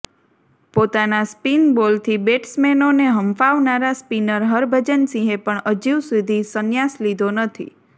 પોતાના સ્પિન બોલથી બેટ્સમેનોને હંફાવનારા સ્પિનર હરભજન સિંહે પણ હજી સુધી સંન્યાસ લીધો નથી